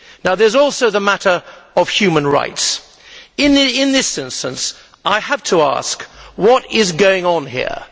There is also the matter of human rights. In this instance, I have to ask what is going on here.